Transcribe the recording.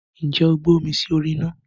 Ǹjẹ́ o gbé omi sí orí ina?